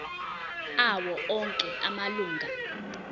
awo onke amalunga